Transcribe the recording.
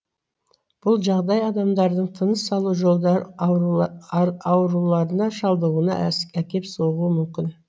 бұл жағдай адамдардың тыныс алу жолдары ауруларына шалдығуына әкеп соғуы мүмкін